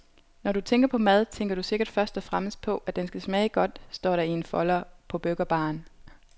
Når du tænker på mad, tænker du sikkert først og fremmest på, at den skal smage godt, står der i en folder på burgerbaren.